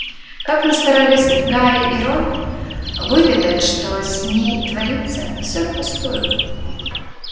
как ни старались гарри и рон выведать что с ней творится всё впустую